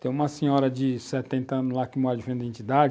Tem uma senhora de setenta anos lá que mora de frente para a entidade,